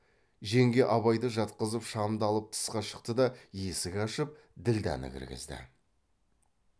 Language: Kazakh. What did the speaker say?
жеңге абайды жатқызып шамды алып тысқа шықты да есік ашып ділдәні кіргізді